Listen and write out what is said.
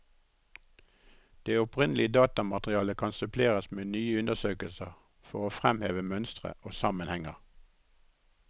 Det opprinnelige datamaterialet kan suppleres med nye undersøkelser for å fremheve mønstre og sammenhenger.